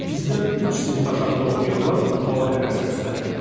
Bizdən üç sinif aşağıda oxuyanlar futbola həvəs göstərirdi.